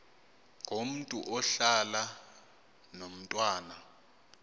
ngomntu ohlala nomntwana